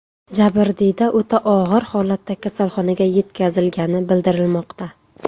Jabrdiyda o‘ta og‘ir holatda kasalxonaga yetkazilgani bildirilmoqda.